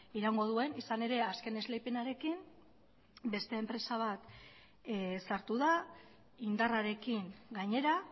iraungo duen izan ere azken esleipenarekin beste enpresa bat sartu da indarrarekin gainera